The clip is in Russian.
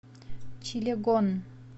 чилегон